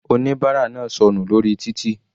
Oníbárà náà sọnù lórí títì.